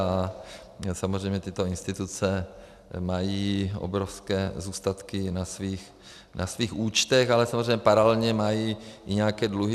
A samozřejmě tyto instituce mají obrovské zůstatky na svých účtech, ale samozřejmě paralelně mají i nějaké dluhy.